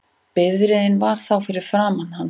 Bifreiðin var þá fyrir framan hann